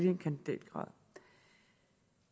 en kandidatgrad